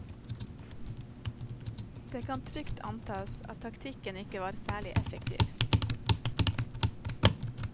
Det kan trygt antas at taktikken ikke var særlig effektiv.